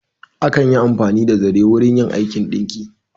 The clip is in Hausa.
Akan yi amfani da zare wurin yin aikin ɗinki.